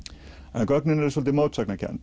en gögnin eru svolítið mótsagnakennd